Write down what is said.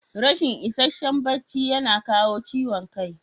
Rashin ishasshen bacci yana kawo ciwon kai.